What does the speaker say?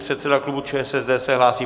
Předseda klubu ČSSD se hlásí.